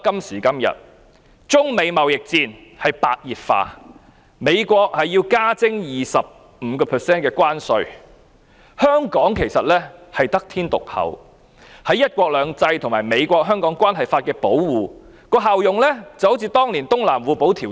時至今日，中美貿易戰白熱化，美國要求加徵 25% 關稅，香港得天獨厚，在"一國兩制"和《美國—香港政策法》的保護下，效用就如當年的《東南互保條約》。